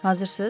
Hazırsız?